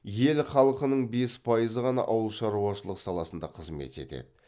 ел халқының бес пайызы ғана ауыл шаруашылық саласында қызмет етеді